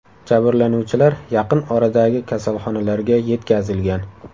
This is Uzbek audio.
Jabrlanuvchilar yaqin oradagi kasalxonalarga yetkazilgan.